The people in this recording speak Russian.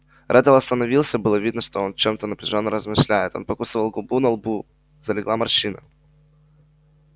реддл остановился было видно что он о чем-то напряжённо размышляет он покусывал губу на лбу залегла морщина